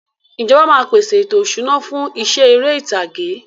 Ìjọba máa peṣe ètò ìṣúná fún iṣẹ́ ère ìtàgé.